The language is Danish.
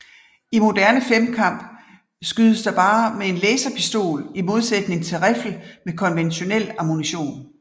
I moderne femkamp skydes der bare med en laserpistol i modsætning til riffel med konventionel ammunition